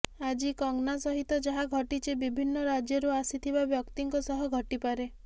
ଆଜି କଙ୍ଗନା ସହିତ ଯାହା ଘଟିଛି ବିଭିନ୍ନ ରାଜ୍ୟରୁ ଆସିଥିବା ବ୍ୟକ୍ତିଙ୍କ ସହ ଘଟିପାରେ